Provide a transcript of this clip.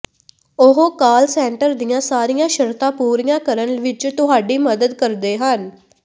ਉਹ call centre ਦੀਆਂ ਸਾਰੀਆਂ ਸ਼ਰਤਾਂ ਪੂਰੀਆਂ ਕਰਨ ਵਿਚ ਤੁਹਾਡੀ ਮਦਦ ਕਰਦੇ ਹਨ